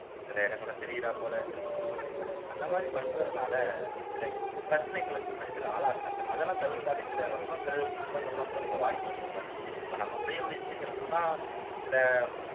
சில இடங்கள்லாம் தெரியுறா போல dress பண்றது அந்த மாதிரி பண்றதுனால சில பிரச்சனைகளுக்கு பெண்கள் ஆளாக்குறாங்க அதெல்லாம் தவிர்த்தாலே சில வன்மங்கள் குற்றங்கள் எல்லாம் குறைய வாய்ப்பு இருக்குதானே இப்ப நம்ம உடை உடுத்தியிருக்குறதுல தான் சில